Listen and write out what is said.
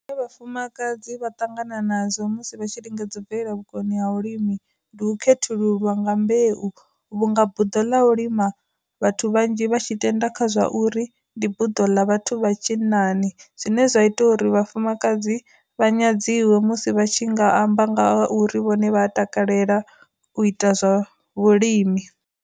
Vhafumakadzi vha ṱangana nadzo musi vha tshi lingedza u bvela vhukoni ha vhu limi, ndi u khethululwa nga mbeu vhunga buḓo ḽa u lima vhathu vhanzhi vha tshi tenda kha zwa ndi buḓo ḽa vhathu vha tshinnani zwine zwa ita uri vhafumakadzi vha nyadziwe musi vha tshi nga amba nga uri vhone vha takalela u ita zwa vhulimi.